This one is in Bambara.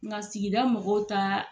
Nka sigida mɔgɔw taaa.